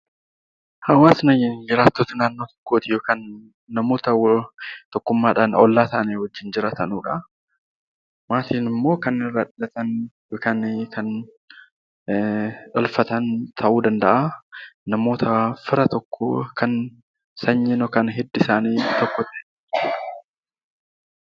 Hawaasa jechuun jiraattota naannoo tokkoo kan namoota tokkummaadhaan ollaa isaanii wajjin jiraatan yookaan maatiin immoo kan namoota fira tokko sanyii yookiin hidda dhiigaa waliin qabanidha